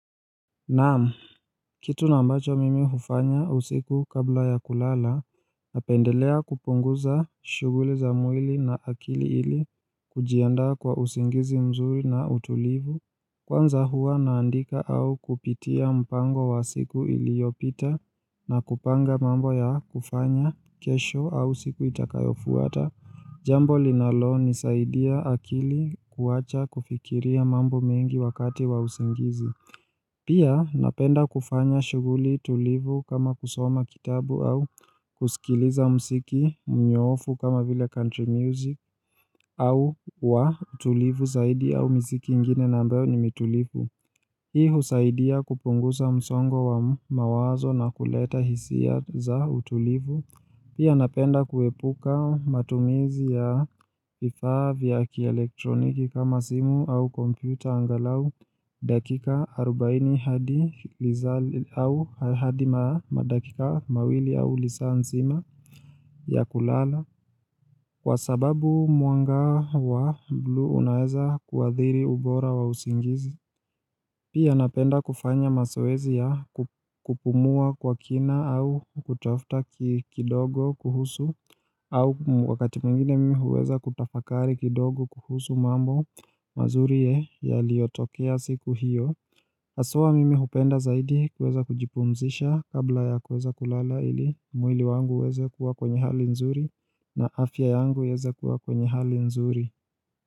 Naam, kitu nambacho mimi hufanya usiku kabla ya kulala, napendelea kupunguza shughuli za mwili na akili ili kujianda kwa usingizi mzuri na utulivu. Kwanza huwa naandika au kupitia mpango wa siku iliopita na kupanga mambo ya kufanya kesho au siku itakayofuata. Jambo linalonizaidia akili kuacha kufikiria mambo mengi wakati wa usingizi. Pia napenda kufanya shughuli tulivu kama kusoma kitabu au kusikiliza muziki mnyoofu kama vile country music au wa tulivu zaidi au misiki ingine na ambayo ni mitulivu. Hii huzaidia kupunguza msongo wa mawazo na kuleta hisia za utulivu. Pia napenda kuepuka matumizi ya vifaa vya kielektroniki kama simu au kompyuta angalau dakika 40 hadi madakika mawili au lisaa nzima ya kulala kwa sababu mwanga wa blue unaeza kuadhiri ubora wa usingizi. Pia napenda kufanya mazoezi ya kupumua kwa kina au kutafuta kidogo kuhusu au wakati mwingine mimi huweza kutafakari kidogo kuhusu mambo mazuri ye yaliotokea siku hiyo Aswa mimi hupenda zaidi kuweza kujipumzisha kabla ya huweza kulala ili mwili wangu huweza kuwa kwenye hali nzuri na afya yangu iweza kuwa kwenye hali nzuri.